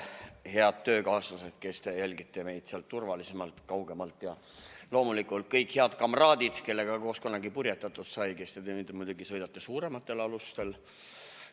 Head töökaaslased, kes te jälgite meid sealt turvalisemalt kaugemalt, ja loomulikult kõik head kamraadid, kellega koos kunagi purjetatud sai ja kes te nüüd muidugi sõidate suurematel alustel.